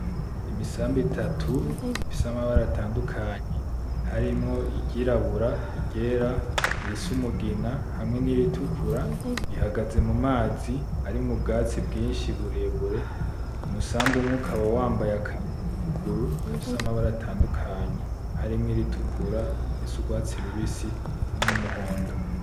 Imisambi itatu ifise amabara atandukanye harimwo iryirabura, iryera, irisa umugina hamwe n'iritukura, ihagaze mu mazi arimwo ubwatsi bwinshi burebure, umusambi umwe ukaba wambaye akantu ku kuguru gafise amabara atandukanye harimwo iritukura irisa urwatsi rubisi niyumuhondo.